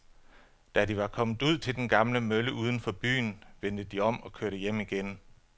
Da de var kommet ud til den gamle mølle uden for byen, vendte de om og kørte hjem igen.